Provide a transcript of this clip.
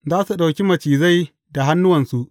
Za su ɗauki macizai da hannuwansu.